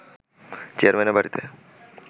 চেয়ারম্যানের বাড়িতে